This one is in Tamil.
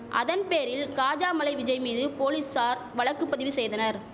அதன் பேரில் காஜாமலை விஜய் மீது போலீசார் வழக்கு பதிவு செய்தனர்